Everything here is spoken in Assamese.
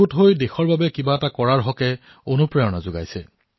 এক হৈ দেশৰ বাবে কিবা এটা কৰাৰ প্ৰেৰণা দিছো